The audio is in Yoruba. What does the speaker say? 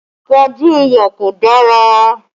Àpọ̀jù iyọ̀ kò dára